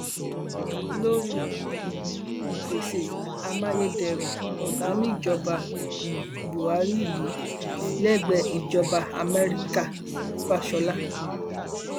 lórí um ìpèsè amáyédẹrùn ọgá níjọba um buhari yìí lẹgbẹẹ ìjọba amẹríkàfásiọlá